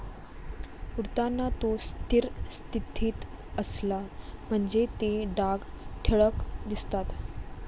उडताना तो स्थिर स्थितीत असला म्हणजे ते डाग ठळक दिसतात.